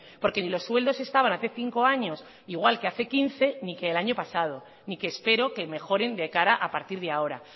porque ni los sueldos estaban hace cinco años igual que hace quince ni que el año pasado ni que espero que mejoren de cara a partir de ahora